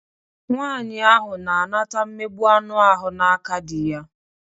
Nwaanyị ahụ na-anata mmegbụ anụ ahụ n'aka dị ya.